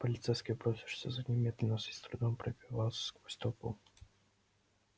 полицейский бросившийся за ним медленно и с трудом пробивался сквозь толпу